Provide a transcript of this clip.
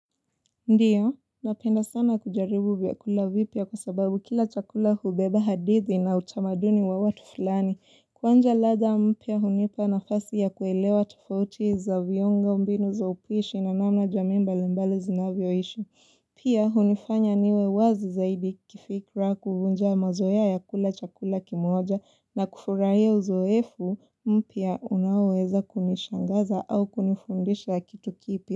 Ndiyo, napenda sana kujaribu vyakula vipya kwa sababu kila chakula hubeba hadithi na utamaduni wa watu fulani. Kwanza ladha mpya unipa nafasi ya kuelewa tufauti za viungo, mbinu za upishi na namna jamii mbali mbali zinavyoishi. Pia hunifanya niwe wazi zaidi kifikra kuvunja mazoea ya kula chakula kimoja na kufurahia uzoefu mpya unaoweza kunishangaza au kunifundisha kitu kipya.